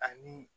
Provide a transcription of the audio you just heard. Ani